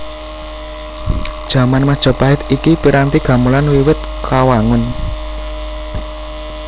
Jaman Majapahit iki piranti gamelan wiwit kawangun